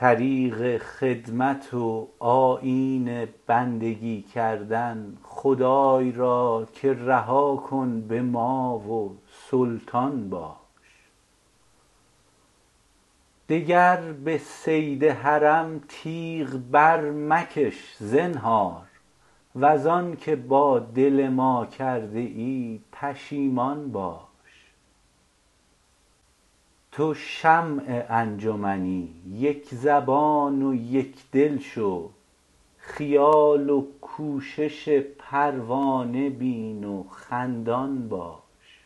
طریق خدمت و آیین بندگی کردن خدای را که رها کن به ما و سلطان باش دگر به صید حرم تیغ برمکش زنهار وز آن که با دل ما کرده ای پشیمان باش تو شمع انجمنی یک زبان و یک دل شو خیال و کوشش پروانه بین و خندان باش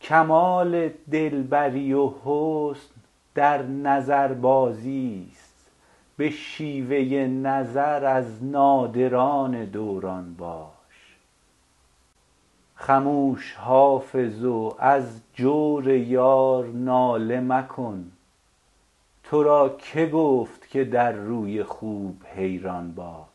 کمال دل بری و حسن در نظربازی است به شیوه نظر از نادران دوران باش خموش حافظ و از جور یار ناله مکن تو را که گفت که در روی خوب حیران باش